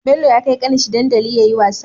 Bello ya kai kanin shi dandaliyayi wasa